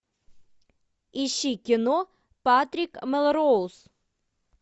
ищи кино патрик мелроуз